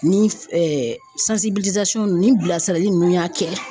Ni ninnu ni bilasirali ninnu y'a kɛ